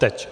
Teď.